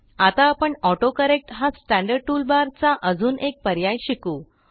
आता आपण ऑटोकरेक्ट हा स्टँडर्ड टूल barचा अजून एक पर्याय शिकू